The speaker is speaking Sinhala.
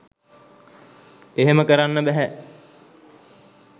එහෙම කරන්න බැහැ